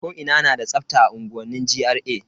Ko ina na da tsafta a unguwanni GRA.